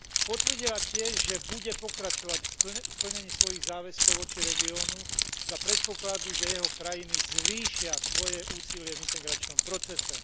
Potvrdila tiež, že bude pokračovať v plnení svojich záväzkov voči regiónu za predpokladu, že jeho krajiny zvýšia svoje úsilie v integračnom procese.